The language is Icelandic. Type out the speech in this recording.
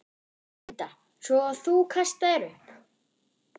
Linda: Svo þú kastaðir upp?